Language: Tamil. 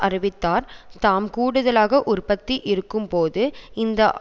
அறிவித்தார் நாம் கூடுதலான உற்பத்தி இருக்கும்போது இந்த